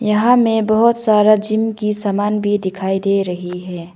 यहां में बहुत सारा जिम की सामान भी दिखाई दे रही है।